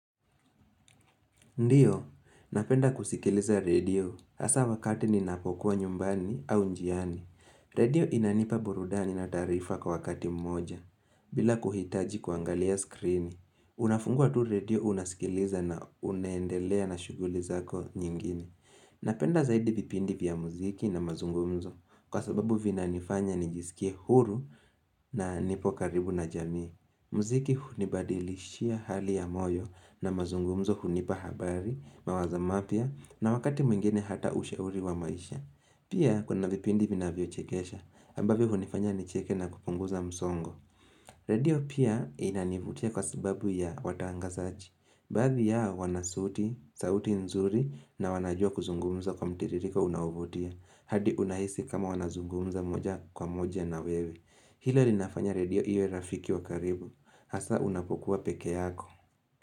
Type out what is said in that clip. Ndiyo, napenda kusikiliza radio, hasa wakati ninapokuwa nyumbani au njiani. Radio inanipa burudani na taarifa kwa wakati mmoja, bila kuhitaji kuangalia skrini. Unafungua tu radio unasikiliza na unaendelea na shuguli zako nyingine. Napenda zaidi vipindi vya muziki na mazungumzo, kwa sababu vina nifanya nijisikie huru na nipo karibu na jamii. Muziki hunibadilishia hali ya moyo na mazungumzo hunipa habari, mawazo mapya na wakati mwingine hata ushauri wa maisha. Pia kuna vipindi vina vyochekesha ambavyo hunifanya nicheke na kupunguza msongo. Radio pia inanivutia kwa sababu ya watangasachi. Baadhi yao wana sauti, sauti nzuri na wanajua kuzungumza kwa mtiririko unaovutia. Hadi unahisi kama wanazungumza moja kwa moja na wewe. Hilo li nafanya radio iwe rafiki wa karibu Hasa unapokuwa peke yako.